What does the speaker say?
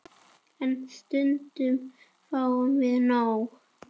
En stundum fáum við nóg.